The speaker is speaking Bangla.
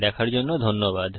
দেখার জন্য ধন্যবাদ